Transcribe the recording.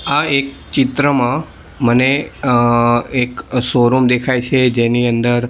આ એક ચિત્રમાં મને અ એક શોરુમ દેખાય છે જેની અંદર--